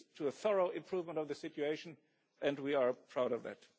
to a thorough improvement of the situation, and we are proud of that.